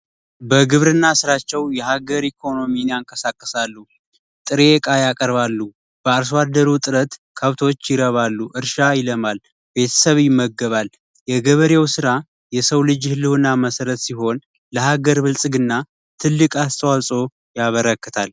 በግብርና ስራቸው የሀገር ኢኮኖሚን ያንቀሳቅሳሉ ጥሬ እቃ ያቀርባሉ። በአርሶ አደሩ ጥሰት ከብቶች ይረባሉ እርሻ ይለማል ቤተሰብ ይመገባል። የገበሬው ስራ የሰው ልጅ የህልውና መሰረት ሲሆን ለሀገር ብልፅግና ትልቅ አስተዋጽኦ ያበረክታል።